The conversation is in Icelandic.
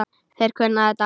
Þeir kunna þetta.